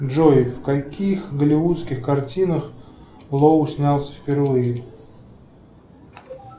джой в каких голливудских картинах лоу снялся впервые